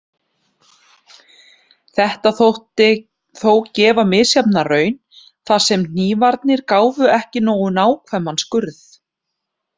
Þetta þótti þó gefa misjafna raun, þar sem hnífarnir gáfu ekki nógu nákvæman skurð.